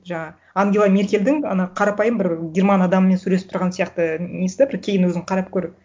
жаңа ангела меркельдің ана қарапайым бір герман адамымен сөйлесіп тұрғаны сияқты і несі де бір кейін өзің қарап көр